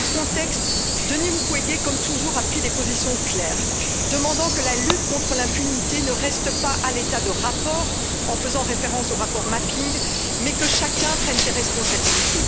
Dans ce contexte, Denis Mukwege, comme toujours, a pris des positions claires, demandant que la lutte contre l'impunité ne reste pas à l'état de rapport, en faisant référence au rapport Mapping, mais que chacun prenne ses responsabilités.